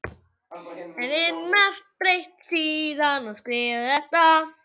Er margt breytt síðan að þetta var skrifað?